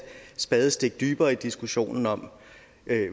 spadestik dybere i diskussionen om